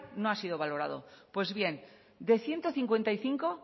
no ha sido valorado pues bien de ciento cincuenta y cinco